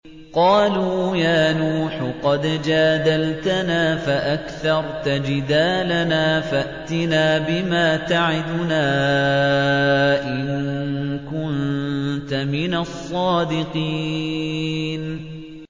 قَالُوا يَا نُوحُ قَدْ جَادَلْتَنَا فَأَكْثَرْتَ جِدَالَنَا فَأْتِنَا بِمَا تَعِدُنَا إِن كُنتَ مِنَ الصَّادِقِينَ